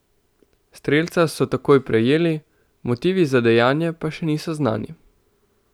Strelca so takoj prijeli, motivi za dejanje pa še niso znani.